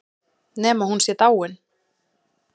Nema hún sé dáin.